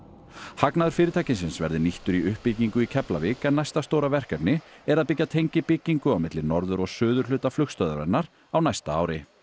hagnaður fyrirtækisins verði nýttur í uppbyggingu í Keflavík en næsta stóra verkefni er að byggja tengibyggingu á milli norður og suðurhluta flugstöðvarinnar á næsta ári